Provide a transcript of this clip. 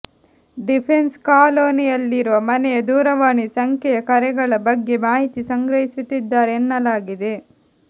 defence ಕಾಲೋನಿಯಲ್ಲಿನ ಮನೆಯ ದೂರವಾಣಿ ಸಂಖ್ಯೆಯ ಕರೆಗಳ ಬಗ್ಗೆ ಮಾಹಿತಿ ಸಂಗ್ರಹಿಸುತ್ತಿದ್ದಾರೆ ಎನ್ನಲಾಗಿದೆ